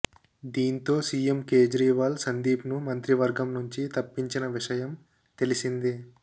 దీంతో సిఎం కేజ్రీవాల్ సందీప్ను మంత్రి వర్గంనుంచి తప్పించిన విషయం తెలిసిందే